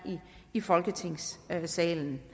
i folketingssalen